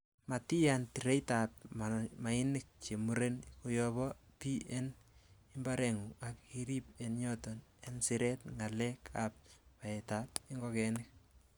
Matiyaan tireitab mainik chemuren koyob bii en imbarengung ak irib en yoton en siret ngalek ab baetab ingogenik.